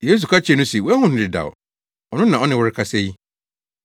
Yesu ka kyerɛɛ no se, “Woahu no dedaw; ɔno na ɔne wo rekasa yi.”